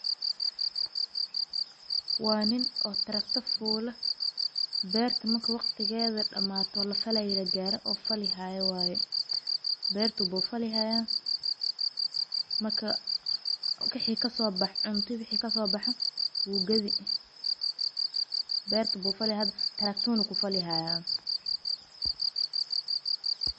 Waan nin oo taragto foola. Beertumak waqtigeeda dhammaan tola falayaal gaar ah oo falihay waayo. Beerto buu falihaya? Makaa, o kay xiik ka soo bax cunto bi xiik ka soo bax wuu gadi? Beerto buu falihada? Taragtuna ku falihaya?